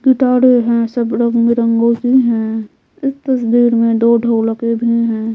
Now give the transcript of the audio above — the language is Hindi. गिटारे है सब रंग बिरंगों की है इस तस्वीर में दो ढोलके भी हैं।